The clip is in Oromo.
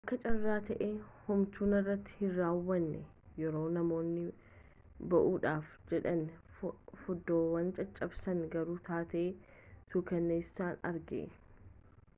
akka carraa ta'ee homtuu narratti hin raawwanne yeroo namoonni ba'uudhaaf jedhanii foddaawwan caccabsan garuu taatee suukkanneessaan arge